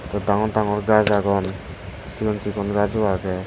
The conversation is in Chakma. eyot danngor danngor gaj agon sigon sigon gajo aagey.